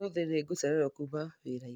ũmũthĩ nĩ ngũcererwo kuuma wĩra-inĩ